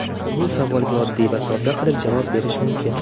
Bu savolga oddiy va sodda qilib javob berish mumkin.